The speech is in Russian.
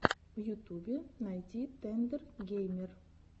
в ютубе найти тендер геймер